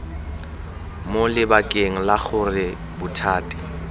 mo lebakeng la gore bothati